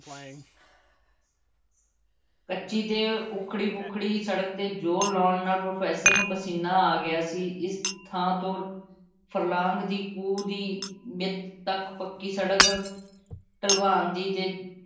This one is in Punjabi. ਕੱਚੀ ਤੇ ਉੱਖੜੀ ਪੁੱਖੜੀ ਸੜਕ ਤੇ ਜ਼ੋਰ ਲਾਉਣ ਨਾਲ਼ professor ਨੂੰ ਪਸੀਨਾ ਆ ਗਿਆ ਸੀ। ਇਸ ਥਾਂ ਤੋਂ ਫਰਲਾਂਗ ਦੀ ਕੁ ਦੀ ਵਿੱਥ ਤੱਕ ਪੱਕੀ ਸੜਕ ਢਲਵਾਨ ਸੀ ਅਤੇ